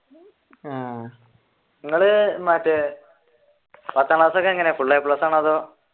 ആഹ് നിങ്ങൾ മറ്റേ പത്താം ക്ലാസ്സൊക്കെ എങ്ങനെയാ full a plus ആണോ അതോ